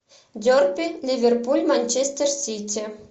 дерби ливерпуль манчестер сити